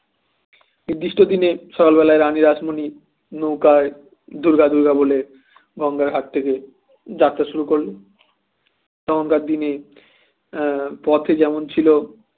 উদ্দিষ্ট দিনে সকালবেলায় রানী রাসমণি নৌকার দুর্গা দুর্গা বলে গঙ্গার ঘাট থেকে যাত্রা শুরু করলো তখনকার দিনে এ পথে যেমন ছিল